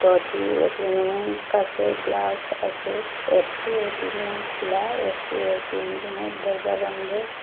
দুটি এটিএমের কাছে গ্লাস আছে একটি এ_টি_এম রুম খোলা একটি এটিএম রুমের দরজা বন্ধ।